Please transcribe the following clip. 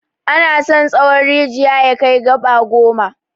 Ana son tsawon rijiya ya kai gaba goma.